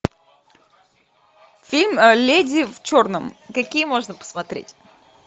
фильм леди в черном какие можно посмотреть